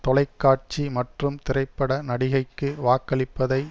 தொலை காட்சி மற்றும் திரைப்பட நடிகைக்கு வாக்களிப்பதை